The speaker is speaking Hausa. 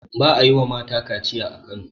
ba a yi wa mata kaciya a Kano